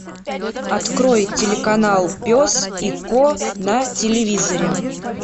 открой телеканал пес и ко на телевизоре